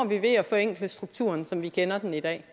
vi ved at forenkle strukturen som vi kender den i dag